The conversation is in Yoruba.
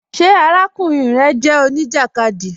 Ṣé àràkùnrin rẹ jẹ oníjakádí?